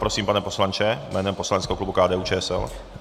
Prosím, pane poslanče, jménem poslaneckého klubu KDU-ČSL.